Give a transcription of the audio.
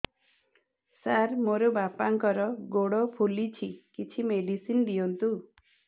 ସାର ମୋର ବାପାଙ୍କର ଗୋଡ ଫୁଲୁଛି କିଛି ମେଡିସିନ ଦିଅନ୍ତୁ